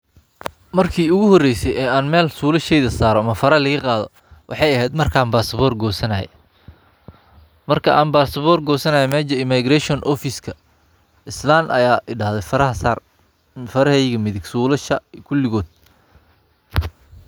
Marki ugu horeyse ee an Mel sulasheydha sare ama faro laiga qadho maxey aahed marki Aan basabor gosanaye marka Aan basabor gosanaye mesha immigration islan Aya idahdhe faraha Saar fareheyga midhig sulasha faraha kuligod